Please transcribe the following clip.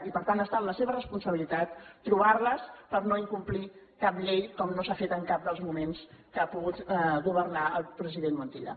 i per tant està en la seva responsabilitat trobar les per no incomplir cap llei com no s’ha fet en cap dels moments que ha pogut governar el president montilla